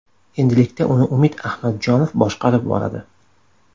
Endilikda uni Umid Ahmadjonov boshqarib boradi.